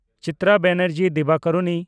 Chitra Banerjee Divakaruni